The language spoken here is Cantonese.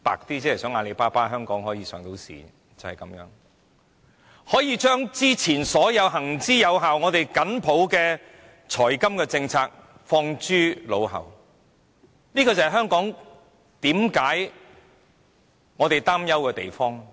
就是因為如此一個理由，便可以把之前所有行之有效，我們緊抱的財金政策拋諸腦後，這便是我們所擔憂的地方。